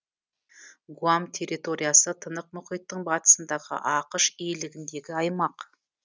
гуам территориясы тынық мұхиттың батысындағы ақш иелігіндегі аймақ